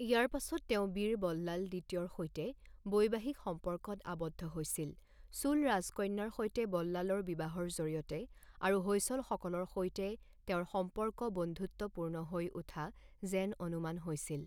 ইয়াৰ পাছত তেওঁ বীৰ বল্লাল দ্বিতীয়ৰ সৈতে বৈবাহিক সম্পৰ্কত আবদ্ধ হৈছিল চোল ৰাজকন্যাৰ সৈতে বল্লালৰ বিবাহৰ জৰিয়তে আৰু হৈসলসকলৰ সৈতে তেওঁৰ সম্পৰ্ক বন্ধুত্বপূৰ্ণ হৈ উঠা যেন অনুমান হৈছিল।